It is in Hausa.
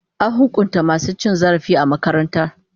An hukunta masu cin zarafi a makarantara.